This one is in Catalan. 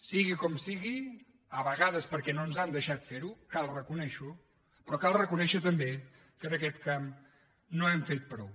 sigui com sigui a vegades perquè no ens han deixat fer ho cal reconèixer ho però cal reconèixer també que en aquest camp no hem fet prou